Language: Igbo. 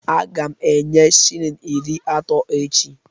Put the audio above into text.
Aga m enye shilling iri atọ echi